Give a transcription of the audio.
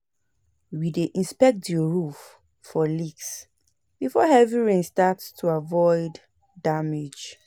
We dey inspect the roof for leaks before heavy rain start to avoid damage.